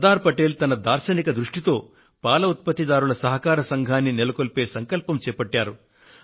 శ్రీ సర్దార్ పటేల్ తన దార్శనిక దృష్టితో పాల ఉత్పత్తిదారుల సహకార సంఘాన్ని నెలకొల్పే సంకల్పం చేపట్టారు